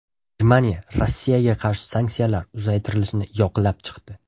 Germaniya Rossiyaga qarshi sanksiyalar uzaytirilishini yoqlab chiqdi.